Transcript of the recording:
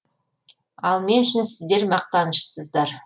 ал мен үшін сіздер мақтанышсыздар